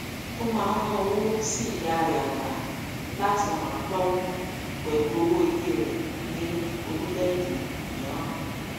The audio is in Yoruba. ó máa ń rán owó sí ìyá rẹ àgbà láti ràn án lọwọ pẹlú owó ilé rẹ ní orílẹèdè mìíràn